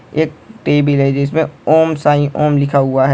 एक टेबल है जिस में ओम साईं ओम लिखा हुआ है।